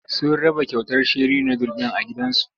Sun raba kyautar sheri nudul a gidan zu.